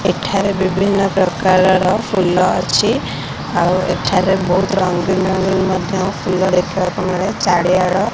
ଏଠାରେ ବିଭିନ୍ନ ପ୍ରକାରର ଫୁଲ ଅଛି ଆଉ ଏଠାରେ ବହୁତ୍ ରଙ୍ଗିନ ରଙ୍ଗିନ ମଧ୍ୟ ଫୁଲ ଦେଖିବାକୁ ମିଳେ ଚାଡିଆଡ ।